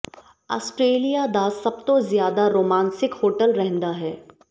Australia ਦਾ ਸਭ ਤੋਂ ਜ਼ਿਆਦਾ ਰੋਮਾਂਸਿਕ ਹੋਟਲ ਰਹਿੰਦਾ ਹੈ